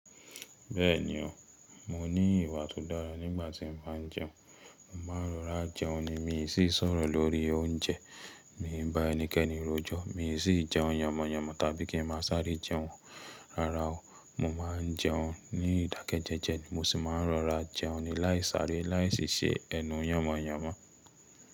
Bẹ́ẹ̀ni o, mo ní ìwà tó dára nígbà tí mo bá ń jẹun. Mo máa rọra jẹun ni mi sì sọ̀rọ̀ lórí oúnjẹ. Mi bà ẹnikẹ́ni rojọ́, mi sì jẹun yànmọ̀yànmọ̀ tàbí kí n máa sáré jẹun rara o. Mo máa ń jẹun ní ìdákẹ́jẹ́jẹ́, mo sì máa ń rọra jẹun ni láì sáré, láì sì ṣe ẹ̀nu yànmọ̀yànmọ̀